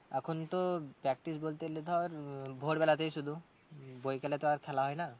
এখন তো practice বলতে গেলে ধর উম ভোর বেলাতেই শুধু উম বৈকালে তো আর খেলা হয় না।